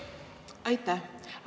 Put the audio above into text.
Aitäh!